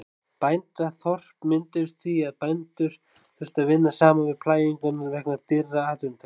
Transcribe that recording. Bændaþorp mynduðust því að bændur þurftu að vinna saman við plæginguna vegna dýrra atvinnutækja.